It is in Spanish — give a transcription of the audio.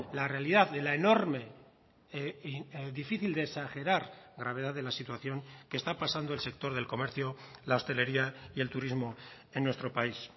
la realidad de la enorme difícil de exagerar gravedad de la situación que está pasando el sector del comercio la hostelería y el turismo en nuestro país